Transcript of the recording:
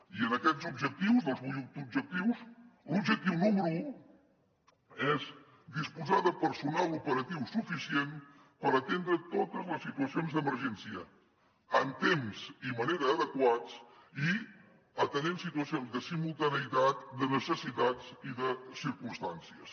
i en aquests objectius dels vuit objectius l’objectiu número un és disposar de personal operatiu suficient per atendre totes les situacions d’emergència en temps i manera adequats i atenent situacions de simultaneïtat de necessitats i de circumstàncies